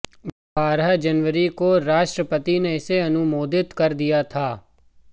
बारह जनवरी को राष्ट्रपति ने इसे अनुमोदित कर दिया था